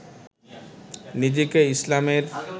নিজেকে ইসলামের